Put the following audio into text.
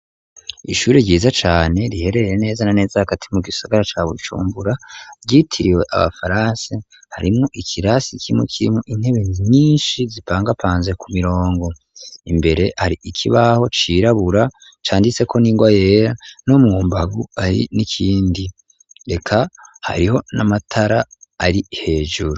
Ishuri ryiza cane riherereye neza na neza hagati mu gisagara ca bujumbura rytiriwe abafaranse harimu ikirasi cimu kirimu intebe nyinshi zipangapanze ku murongo, imbere hari ikibaho cirabura canditse ko n'ingwa yera no mwumbagu ari n'ikindi reka hariho n'amatara ari hejuru.